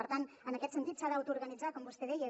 per tant en aquest sentit s’ha d’autoorganitzar com vostè deia